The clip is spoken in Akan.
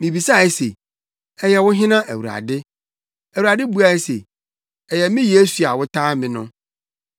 “Mibisae se, ‘Ɛyɛ wo hena, Awurade?’ “Awurade buae se, ‘Ɛyɛ me Yesu a wotaa me no.